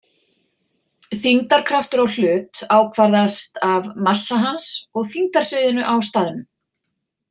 Þyngdarkraftur á hlut ákvarðast af massa hans og þyngdarsviðinu á staðnum.